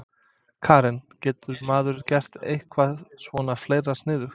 Karen: Getur maður gert eitthvað svona fleira sniðugt?